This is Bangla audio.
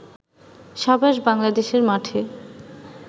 সাবাস বাংলাদেশের মাঠে